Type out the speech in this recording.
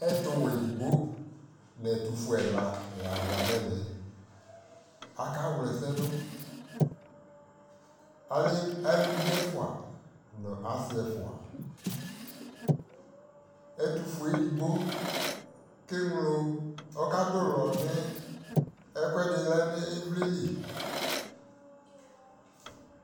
ɛtʋ wɛ ɛdigbɔ nʋ ɛtʋ ƒʋɛ ɛla la zanʋ ɛvɛ, aka wlɛ ɛsɛ dʋ, alɛ alʋvi ɛƒʋa nʋ asii ɛƒʋa, ɛtʋƒʋɛ ɛdigbɔ kɛ mlɔ ɔka dʋlɔ ni ɛkʋɛdi lɛnʋ ivlitsɛ li